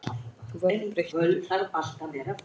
Þú verður breyttur.